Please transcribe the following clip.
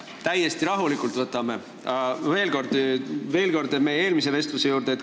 Me võtame täiesti rahulikult, aga lähen veel kord meie eelmise vestluse juurde.